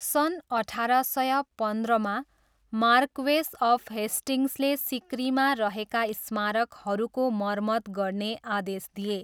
सन् अठार सय पन्ध्रमा, मार्क्वेस अफ हेस्टिङ्गसले सिकरीमा रहेका स्मारकहरूको मर्मत गर्ने आदेश दिए।